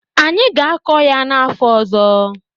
Anyị ga-akọ ya n'afọ ọzọ.